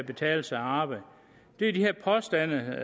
betale sig at arbejde er de her påstande